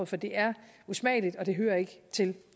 for det er usmageligt og det hører ikke til